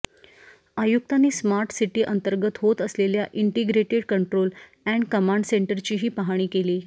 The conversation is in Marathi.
आयुक्तांनी स्मार्ट सिटीअंतर्गत होत असलेल्या इंटिग्रेटेड कंट्रोल अॅण्ड कमांड सेंटरचीही पाहणी केली